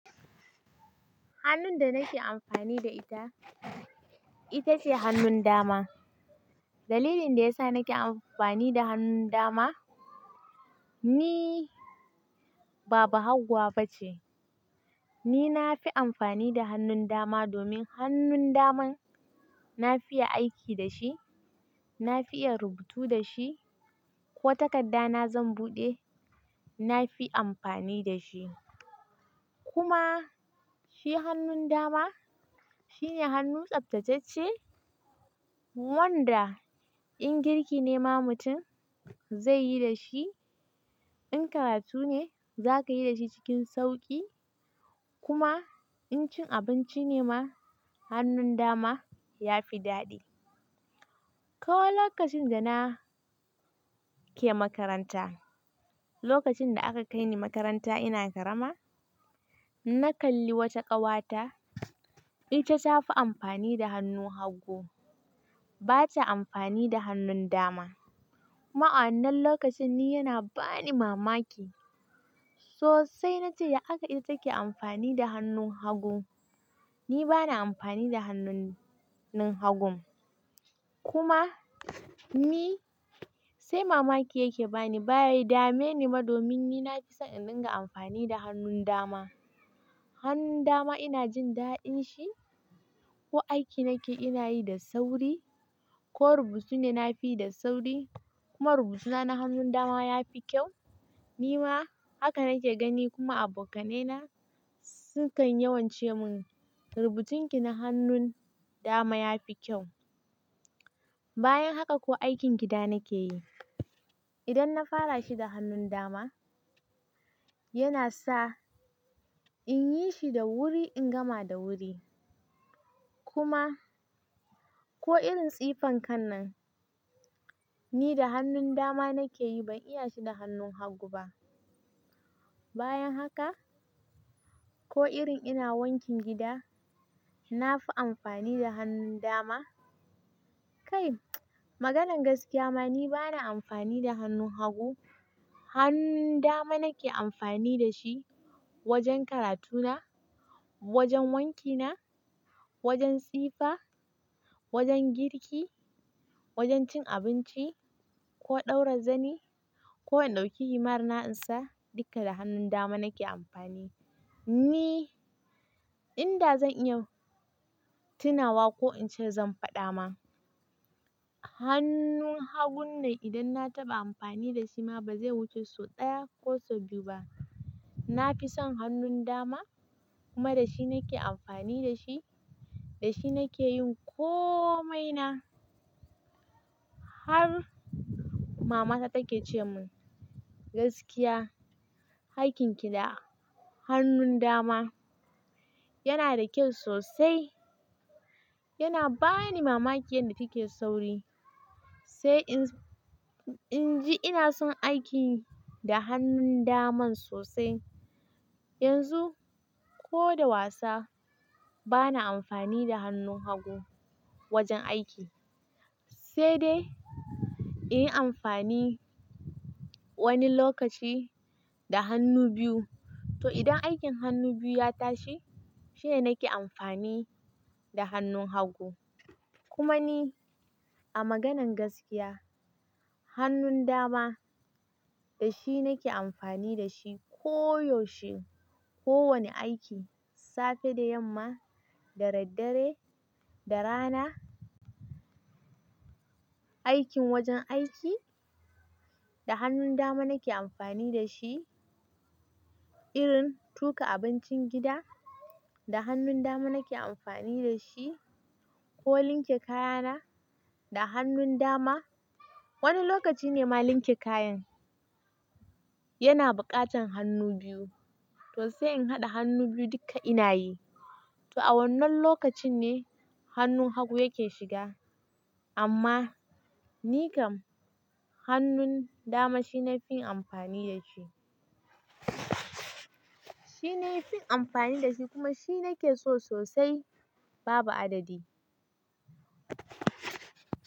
Hannun da nake amfani da ita, ita ce hannun dama. Dalilin da ya sa nake amfani da hannun dama, ni ba bahaguwa ba ce. Ni na fi amfani da hannun dama domin hannun naman na fiya aiki da shi, na fi iya rubutu da shi ko takarda na zan buɗe, na fi amfani da shi. Kuma shi hannun dama shine hannu tsaftatacce wanda in girki ne ma mutum zai yi da shi, in karatu ne za ka yi da shi cikin sauƙi kuma in cin abinci ne ma hannun dama ya fi daɗi. Kawo lokacin da na ke makaranta, lokacin da aka kai ni makaranta ina karama, na kalli wata ƙawata ita ta fi amfani da hannu hagu, ba ta amfani da hannun dama. Kuma a wannan lokacin ni yana bani mamaki. Sosai na ce, "Ya akai ita take amfani da hannun hagu?" Ni ba na amfani da hannun hagun. Kuma ni sai mamaki yake bani. Be dame ni ma domin ni na fi son in dinga amfani da hannun dama. Hannun dama ina jin daɗin shi. Ko aiki nake ina yi da sauri, ko rubutu ne na fi yi da sauri kuma rubutuna na hannun dama ya fi kyau. Ni ma haka nake gani kuma abokanaye na su kan yawance mun, "Rubucin ki na hannun dama ya fi kyau." Bayan haka ko aikin gida nake yi, idan na fara shi da hannun dama yana sa in yi shi da wuri, in gama da wuri. Kuma ko irin tsifan kan nan, ni da hannun dama nake yi, ban iya shi da hannun hagu ba. Bayan haka ko irin ina wankin gida, na fi amfani da hannun dama. Kai maganan gaskiya ma ni ba na amfani da hannun hagu. Hannun dama nake amfani da shi wajen karatuna, wajen wankina, wajen tsifa, wajen girki, wajen cin abinci ko ɗaura zani ko in ɗauki himar na'ainsa, duka da hannun dama nake amfani. Ni inda zan iya tunawa ko in ce zan faɗa ma, hannun hagun nan idan na taɓa amfani da shi ma ba zai wuce sau ɗaya ko sau biyu ba. Na fi son hannun dama kuma da shi nake amfani da shi. Da shi nake yin komai na. Har mamata take ce mun, "Gaskiya, aikin ki da hannun dama yana da kyau sosai." Yana bani mamaki yanda fi ke sauri. Sai in, in ji ina son aiki da hannun daman sosai. Yanzu ko da wasa ba na amfani da hannun hagu wajen aiki. Sai dai in yi amfani wani lokaci da hannu biyu. To idan aikin hannu biyu ya tashi shine nake amfani da hannun hagu. Kuma ni a maganan gaskiya, hannun dama da shi nake amfani da shi koyaushe. Ko wani aiki, safe da yamma, da dare, da rana. Aikin wajen aiki, da hannun dama nake amfani da shi. Irin tuƙa abincin gida, da hannun dama nake amfani da shi. Ko linke kayana, da hannun dama. Wani lokaci ne ma linke kayan yana buƙatan hannu biyu. To sai in haɗa hannu biyu duka ina yi. To a wannan lokacin ne hannun hagu yake shiga. Amma ni kam hannun dama shine na fi amfani da shi. Shine na fi amfani da shi kuma shi nake so sosai babu adadi.